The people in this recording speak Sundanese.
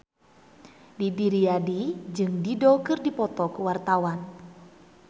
Didi Riyadi jeung Dido keur dipoto ku wartawan